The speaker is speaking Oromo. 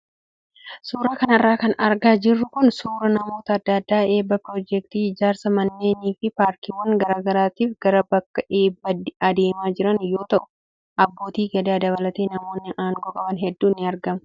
Suuraa kanarra kan argaa jirru kun suuraa namoota adda addaa eebba piroojeektii ijaarsa manneenii fi paarkiiwwan garaagaraatiif gara bakka eebbaa adeemaa jiran yoo ta'u, abbootii gadaa dabalatee namoonni aangoo qaban hedduun ni argamu.